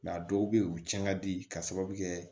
a dɔw bɛ yen u tiɲɛn ka di k'a sababu kɛ